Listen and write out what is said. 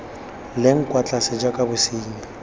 leng kwa tlase jaaka bosenyi